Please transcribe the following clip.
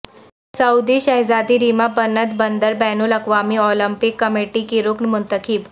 سعودی شہزادی ریما بنت بندر بین الاقوامی اولمپک کمیٹی کی رکن منتخب